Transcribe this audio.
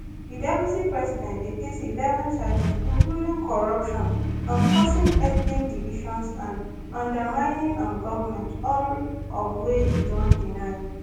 di deputy president dey face eleven charges including corruption um causing ethnic divisions and undermining um government all of wey e don deny